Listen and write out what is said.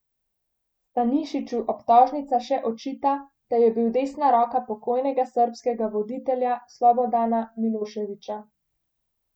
Stanišiću obtožnica še očita, da je bil desna roka pokojnega srbskega voditelja Slobodana Miloševića.